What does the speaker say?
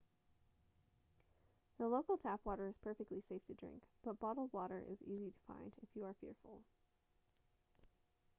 the local tap water is perfectly safe to drink but bottled water is easy to find if you are fearful